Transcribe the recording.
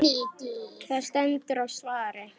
Það stendur á svari.